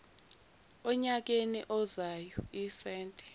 enyakeni ozayo isenti